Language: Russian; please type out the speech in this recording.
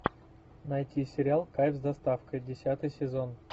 найти сериал кайф с доставкой десятый сезон